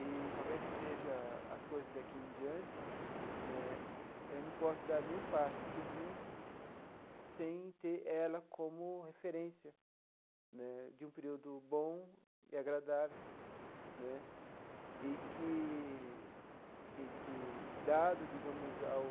E, qualquer que seja as coisas daqui em diante né, eu não posso dar nenhum passo seguinte sem ter ela como referência né de um período bom e agradável né e que e que, dado, digamos, ao